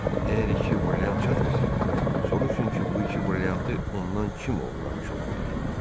Əgər iki brilliant çatmasa, soruşun ki, bu iki brilliantı ondan kim oğurlamış ola bilər.